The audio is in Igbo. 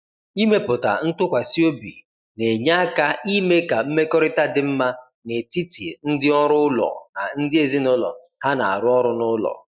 Ịmepụta ntụkwasị obi na-enye aka ime ka mmekọrịta dị mma n’etiti ndị ọrụ ụlọ na ndị ezinụlọ ha na-arụ ọrụ n’ụlọ.